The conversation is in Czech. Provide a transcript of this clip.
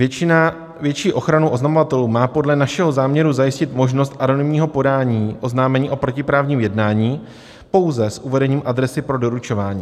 Větší ochranu oznamovatelů má podle našeho záměru zajistit možnost anonymního podání oznámení o protiprávním jednání pouze s uvedením adresy pro doručování.